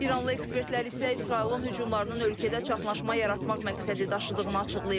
İranlı ekspertlər isə İsrailin hücumlarının ölkədə çaşqınlıq yaratmaq məqsədi daşıdığını açıqlayıblar.